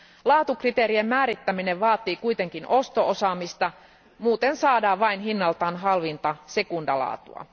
Laatukriteerien määrittäminen vaatii kuitenkin osto osaamista, muuten saadaan vain hinnaltaan halvinta sekundalaatua.